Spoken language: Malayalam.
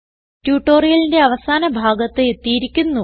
ട്യൂട്ടോറിയലിന്റെ അവസാന ഭാഗത്ത് എത്തിയിരിക്കുന്നു